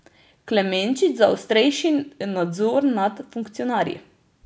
Klemenčič za ostrejši nadzor nad funkcionarji.